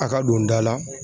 A ka don da la